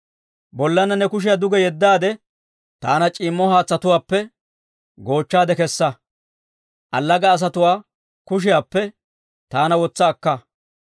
Bollaanna ne kushiyaa duge yeddaade, taana c'iimmo haatsatuwaappe goochchaade kessa; allaga asatuwaa kushiyaappe taana wotsa akka.